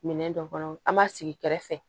Minɛn dɔ kɔnɔ an b'a sigi kɛrɛfɛ